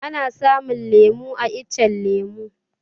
Ana samun lemu a iccen lemu